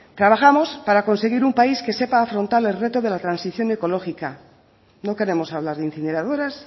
trabajamos para conseguir un país que sepa afrontar el reto de la transición ecológica no queremos hablar de incineradoras